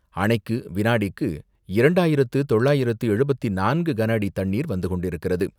அணைக்கு வினாடிக்கு இரண்டாயிரத்து தொள்ளாயிரத்து எழுபத்து நான்கு கனஅடி தண்ணீர் வந்துகொண்டிருக்கிறது.